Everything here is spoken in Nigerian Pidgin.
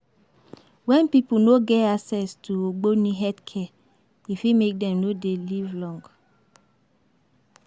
When pipo no get access to ogbone health care, e fit make dem no dey live long